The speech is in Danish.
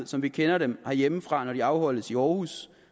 som vi kender dem herhjemmefra når de afholdes i aarhus